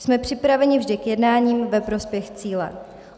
Jsme připraveni vždy k jednání ve prospěch cíle.